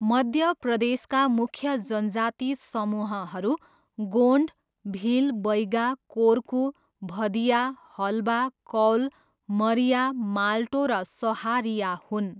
मध्य प्रदेशका मुख्य जनजाति समूहहरू गोन्ड, भिल, बैगा, कोर्कू, भदिया, हलबा, कौल, मरिया, मालटो र सहारिया हुन्।